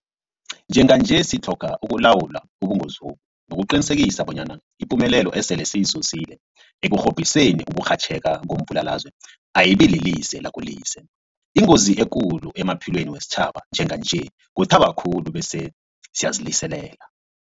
Njenganje sitlhoga ukulawula ubungozobu nokuqinisekisa bonyana ipumelelo esele siyizuzile ekurhobhiseni ukurhatjheka kombulalazwe ayibililize lakolize. Ingozi ekulu emaphilweni wesitjhaba njenganje kuthaba khulu bese siyaziliselela.